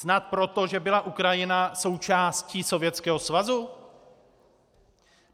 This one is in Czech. Snad proto, že byla Ukrajina součástí Sovětského svazu?